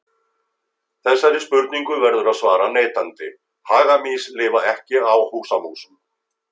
Þessari spurningu verður að svara neitandi, hagamýs lifa ekki á húsamúsum.